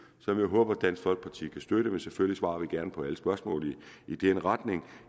som jeg håber dansk folkeparti kan støtte men selvfølgelig svarer vi gerne på alle spørgsmål i den retning